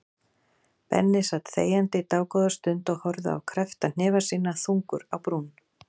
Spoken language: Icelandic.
Benni sat þegjandi dágóða stund og horfði á kreppta hnefa sína, þungur á brún.